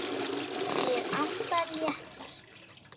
Ég anda léttar.